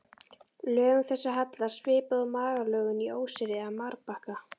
Lögum þessum hallar svipað og malarlögum í óseyri eða marbakka.